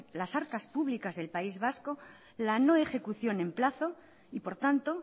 las arcas públicas del país vasco la no ejecución en plazo y por tanto